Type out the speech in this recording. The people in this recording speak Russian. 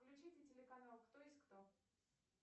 включите телеканал кто есть кто